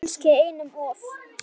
Kannski einum of.